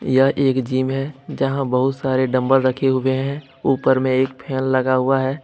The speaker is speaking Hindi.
यह एक जीम है जहां बहुत सारे डम्बल रखे हुए हैं ऊपर में एक फैन लगा हुआ है।